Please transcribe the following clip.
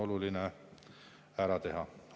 tuleks ära teha.